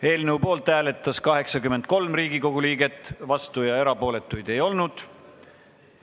Hääletustulemused Poolt hääletas 83 Riigikogu liiget, vastuolijaid ja erapooletuid ei olnud.